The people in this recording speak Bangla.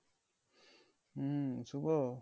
হম শুভ